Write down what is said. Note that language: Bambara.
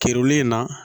Kereli in na